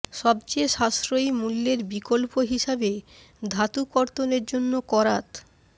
সবচেয়ে সাশ্রয়ী মূল্যের বিকল্প হিসাবে ধাতু কর্তনের জন্য করাত